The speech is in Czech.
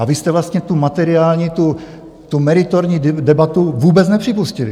A vy jste vlastně tu materiální, tu meritorní debatu vůbec nepřipustili.